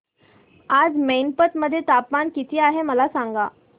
आज मैनपत मध्ये तापमान किती आहे मला सांगा